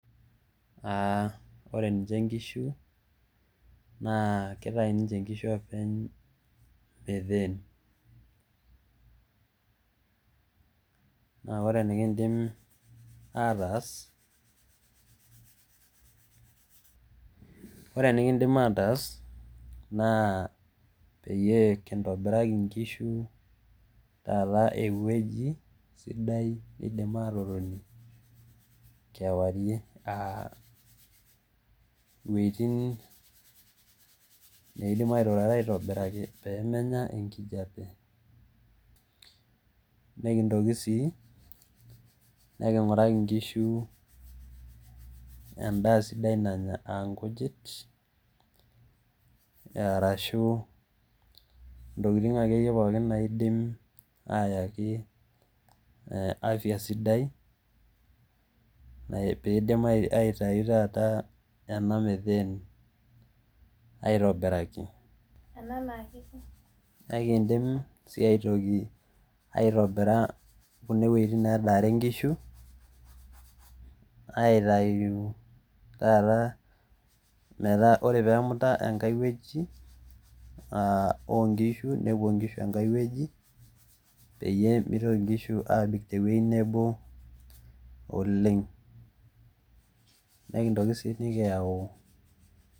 Are niche inkishu neitayu oopeny endaa enye. Naa ore enikindim ataas naa peyie kintobiraki nkishu ewueji sidai neidim aatotonie kewarie. Ewueji neidim airyrare esidai peyie menya enkijape. Nikintoki sii ainguraki enda sidai nanya ana nkijit okulie tokin sidai. Ekiindim aitobiraki wuejitin needare nkishu